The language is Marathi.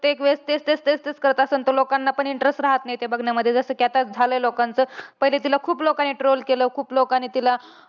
प्रत्येक वेळेस तेच तेच तेच तेच करत असलं, तर लोकांना पण interest राहत नाही ते बघण्यामध्ये. जसं कि आता झालंय लोकांचं. पहिले तिला खूप लोकांनी troll केलं. खूप लोकांनी तिला